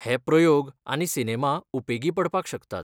हे प्रयोग आनी सिनेमा उपेगी पडपाक शकतात.